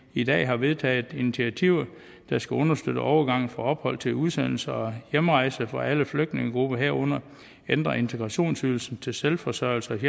i dag har vedtaget initiativer der skal understøtte overgangen fra ophold til udsendelse og hjemrejse for alle flygtningegrupper herunder ændre integrationsydelsen til selvforsørgelses